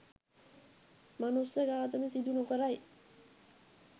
මනුස්ස ඝාතන සිදු නොකරයි